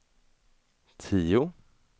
tio